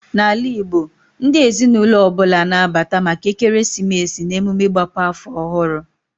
Na ala Igbo, ndị ezinụlọ ọbụla na abata maka ekeresimesi na emume ịgbape afọ ọhụrụ